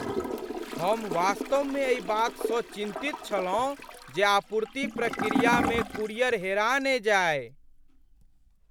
हम वास्तवमे एहि बातसँ चिन्तित छलहुँ जे आपूर्ति प्रक्रियामे कूरियर हेरा ने जाय।